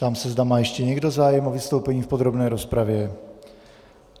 Ptám se, zda má ještě někdo zájem o vystoupení v podrobné rozpravě.